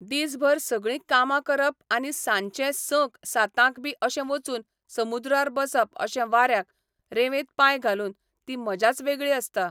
दीस भर सगळीं कामा करप आनी सांजचें संक सातांक बी अशें वचून समुद्रार बसप अशें वाऱ्याक, रेवेंत पांय घालून, ती मजाच वेगळी आसता.